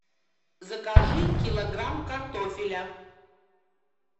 закажи килограмм картофеля